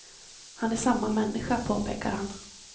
Han är samma människa, påpekar han.